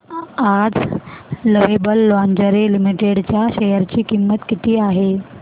आज Lovable Lingerie Limited च्या share ची किंमत किती आहे